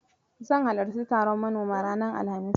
Zan halarci taron manoma ranar Alhamis.